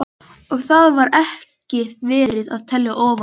Og þar var ekki verið að telja ofan í mann.